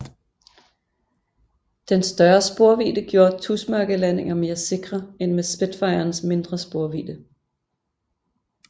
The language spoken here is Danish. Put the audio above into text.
Den større sporvidde gjorde tusmørkelandinger mere sikre end med Spitfirens mindre sporvidde